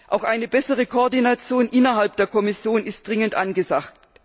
Auch eine bessere Koordination innerhalb der Kommission ist dringend angesagt.